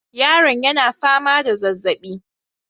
Yaron yana fama da zazaɓi